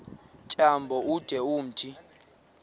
tyambo ude umthi